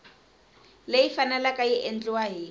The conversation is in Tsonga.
leyi faneleke ku endliwa hi